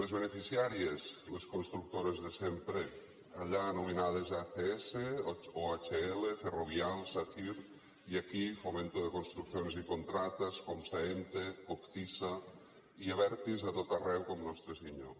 les beneficiàries les constructores de sempre allà anomenades acs o ohl ferrovial sacyr i aquí fomento de construcciones y contratas comsa emte copcisa i abertis a tot arreu com nostre senyor